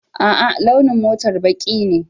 A'a, launin motar baƙi ne.